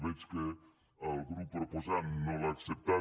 veig que el grup proposant no l’ha acceptada